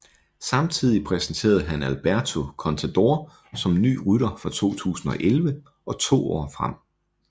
Samtidig præsenterede han Alberto Contador som ny rytter fra 2011 og to år frem